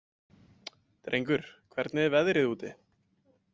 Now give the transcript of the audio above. Drengur, hvernig er veðrið úti?